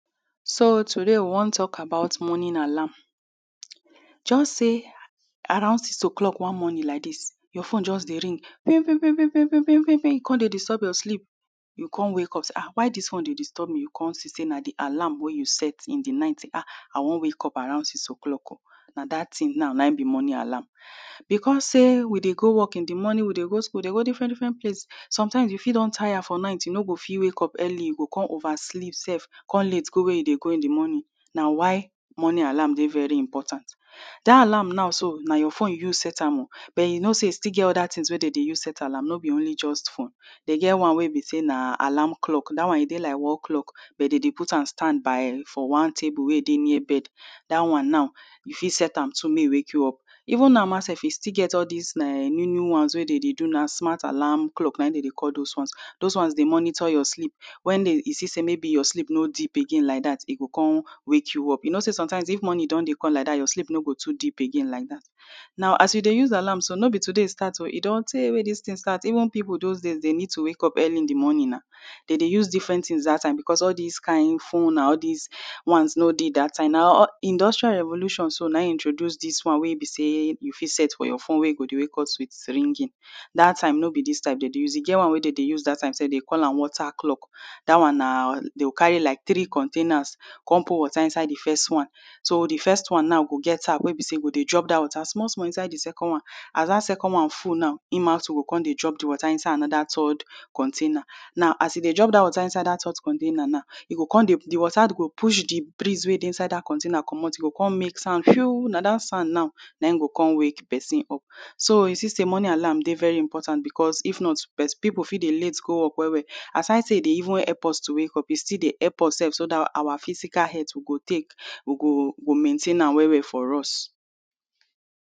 So, today, we wan talk about morning alarm. Just say around six o’ clock one morning like dis, your phone just dey ring, “pim, pim, pim, pim, pim, pim, pim, pim.” E come dey disturb your sleep. You go come wake up say, “Ah! Why dis phone dey disturb me?” You go come see say na di alarm wey you set in di night, say, “Ah! I wan wake up around six o’ clock.” Na dat tin na, na im be morning alarm. Because say we dey go work in di morning, we dey go school, dey go different different place, sometimes, you fit don tire for night, you no go fit wake up early, you go come oversleep sef, come late go wey you dey go in di morning. Na why morning alarm dey very important. Dat alarm now so, na your phone you use set am o, but you know say e still get other tins wey dem dey use set alarm. No be only just phone. Dem get one wey be say na alarm clock. Dat one, e dey like wall clock, but dem dey put am stand by for one table wey dey near bed. Dat one now, you fit set am too make e wake you up. Even sef, e still get all dis new new ones wey dey dey do now — smart alarm clock, na im dey dey call those ones. Those ones dey monitor your sleep. When e see say your sleep no deep again like dat, e go come wake you up. You know say sometimes if morning don dey come like dat, your sleep no go too deep again like dat. Now, as you dey use alarm so, no be today e start o. E don tey wey dis tin start. Even people those days, dey need to wake up early in di morning na. Dey dey use different tins dat time because all dis kain phone na, all dis ones no dey dat time. Na industrial revolution so na e introduce dis one wey e be say you fit set for your phone wey e go dey wake us with ringing. Dat time, no be dis type dem dey use. E get one one wey dem dey use dat time sef, dem dey call am water clock. Dat one na, dey go carry like three containers, come put water inside di first one. So, di first one na go get tap wey be say e go dey drop dat water small small inside di second one. As dat second one full now, im also go dey drop di water inside another third container. Now, as e dey drop water inside dat third container na, e go come dey, di water go push di breeze wey dey inside dat container comot. E go come mix am. Na dat sand now, na im go come wake pesin up. So, you see say morning alarm dey very important because if not, people fit dey late go work well well. Asides say e dey even help us to wake up, e still dey help us sef, so dat our physical health we go take, we go, go maintain am well well for us.